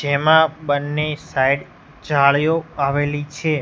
જેમાં બંને સાઈડ જાળીઓ આવેલી છે.